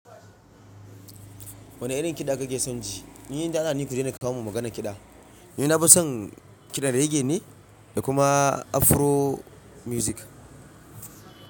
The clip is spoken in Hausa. Wane irin kiɗa kake son ji? Ni da Alla ni ku daina kawo min maganar kiɗa. Ni nafi son kiɗan rege ne da kuma Afro miwzik.